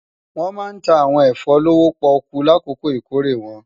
Wòn má ntá áwòn efò lówó-pòkú lákókó ikóré wòn